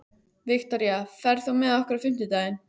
Viktoria, ferð þú með okkur á fimmtudaginn?